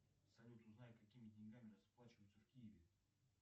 салют узнай какими деньгами расплачиваются в киеве